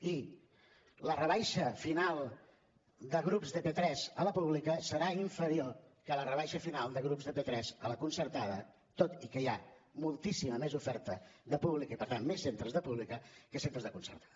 i la rebaixa final de grups de p3 a la pública serà inferior que la rebaixa final de grups de p3 a la concertada tot i que hi ha moltíssima més oferta de pública i per tant més centres de pública que centres de concertada